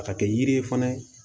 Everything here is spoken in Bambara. A ka kɛ yiri ye fana